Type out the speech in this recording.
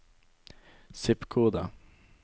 zip-kode